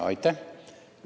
Aitäh!